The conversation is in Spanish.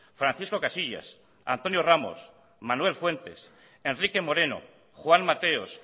francisco casillas antonio ramos manuel fuentes enrique moreno juan mateos